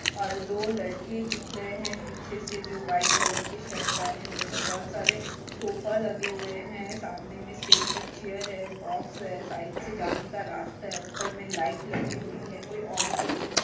और दो लड़के दिख रहे है पीछे से जो व्हाइट कलर के शर्ट पहने हुए है बहोत सारे सोफा लगे हुए है सामने में स्टेज पर चीयर बॉक्स है साइट के जाने का रास्ता ऊपर से लाइट लगी हुई है कोई ऑडिटोरियम --